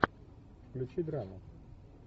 включи драму